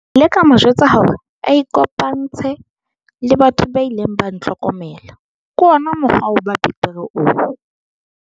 Ke ile ka mo jwetsa hore a ikopantshe le batho ba ileng ba ntlhokomela - ke ona mokgwa wa ho ba betere oo.